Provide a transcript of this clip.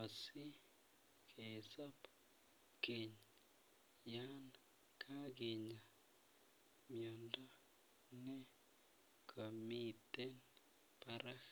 asikesob keny yan kakinya miondo ne komiten barak.